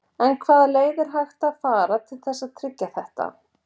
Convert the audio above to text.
En hvaða leið er hægt að fara til þess að tryggja þetta?